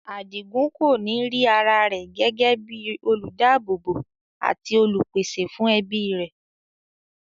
Adigun kòní rí ara rẹ̀ gẹ́gẹ́ bíi olùdáábòbò àti olùpèsè fún ẹbí rẹ̀.